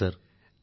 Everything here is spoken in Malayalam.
ഉവ്വ് സർ